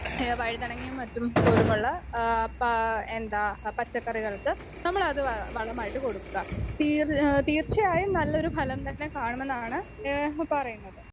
Speaker 2 ഏഹ് വഴുതനങ്ങയും മറ്റും പോലുമുള്ള ആഹ് പ എന്താ പച്ചക്കറികൾക്ക് നമ്മളത് വ വളമായിട്ട് കൊടുക്കുക തീര് തീർച്ചയായും നല്ലൊരു ഫലം തന്നെ കാണുമെന്നാണ് ഏഹ് പറയുന്നത്.